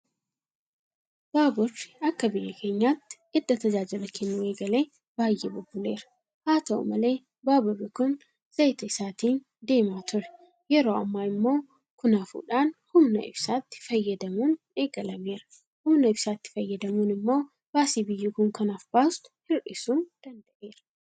Baaburri akka biyya keenyaatti edda tajaajila kennuu eegalee baay'ee bubbuleera. Haata'u malee baaburri kun Zayita isaatiin deemaa ture. Yeroo ammaa immoo kun hafuudhaan humna ibsaatti fayyadamuun eegalameera. Humna ibsaatti fayyadamuun immoo baasii biyyi kun kanaaf baastu hir'isuu danda'eera.